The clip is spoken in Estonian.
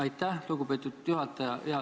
Aitäh, lugupeetud juhataja!